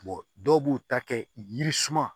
dɔw b'u ta kɛ yiri suma